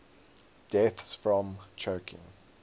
deaths from choking